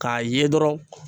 K'a ye dɔrɔn